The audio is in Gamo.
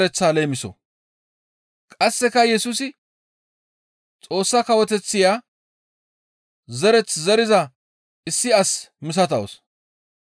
Qasseka Yesusi, «Xoossa kawoteththiya zereth zeriza issi as misatawus.